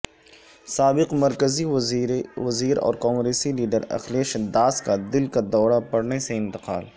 سابق مرکزی وزیر اور کانگریسی لیڈر اکھلیش داس کا دل کا دورہ پڑنے سے انتقال